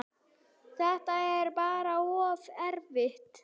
Þetta er bara of erfitt.